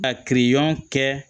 A kiriɲɔgɔn kɛ